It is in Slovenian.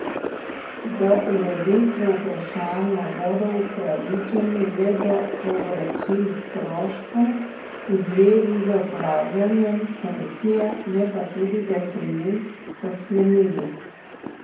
Do ureditve vprašanja bodo upravičeni le do povračil stroškov v zvezi z opravljanjem funkcije, ne pa tudi do sejnin, so sklenili.